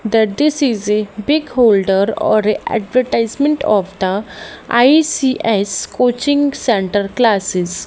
that this is a big holder or a advertisement of the I_C_S coaching centre classes.